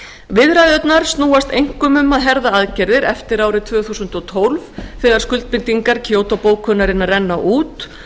viðræðurnar snúast einkum um að herða aðgerðir eftir árið tvö þúsund og tólf þegar skuldbindingar kyoto bókunarinnar renna út